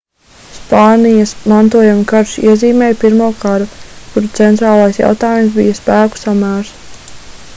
spānijas mantojuma karš iezīmēja pirmo karu kura centrālais jautājums bija spēku samērs